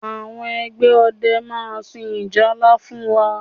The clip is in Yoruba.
Àwọn ẹgbẹ́ ọdẹ máa sun ìjálá fún wa